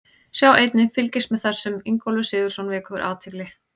Sjá einnig: Fylgist með þessum: Ingólfur Sigurðsson vekur athygli